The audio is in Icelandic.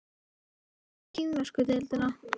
En hvað með kínversku deildina?